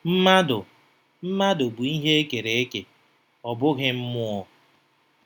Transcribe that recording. Mmadụ Mmadụ bụ ihe e kere eke, ọ bụghị mmụọ.